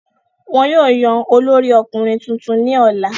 wọn yóò yan olórí ọkùnrin tuntun ní ọ̀la